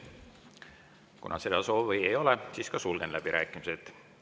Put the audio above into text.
Kuna seda soovi ei ole, siis sulgen läbirääkimised.